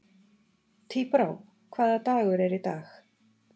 Tíbrá, hvaða dagur er í dag?